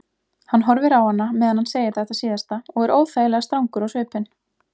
Hann horfir á hana meðan hann segir þetta síðasta og er óþægilega strangur á svipinn.